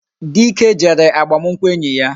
Dike jere agbamunkwu enyi ya